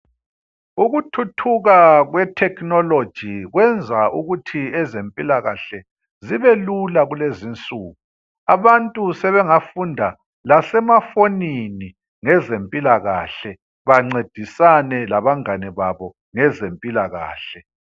Ukuthuthuka kwe technology kwenza ukuthi ezempilakahle zibe lula kulezinsuku. Abantu sebengafunda lasemafonini, lezempilakahle bancedisane labangane babo ngezempilakahle.